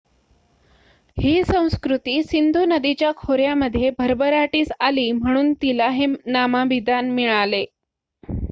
ही संस्कृती सिंधू नदीच्या खोऱ्यामध्ये भरभराटीस आली म्हणून तिला हे नामाभिमान मिळाले